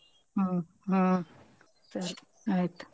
ಹ್ಮ್ ಹ್ಮ್ ಸರಿ ಆಯ್ತು.